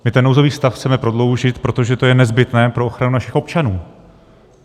My ten nouzový stav chceme prodloužit, protože to je nezbytné pro ochranu našich občanů.